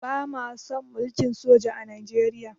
Ba ma son mulkin soja a Nijeriya